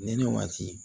Ne waati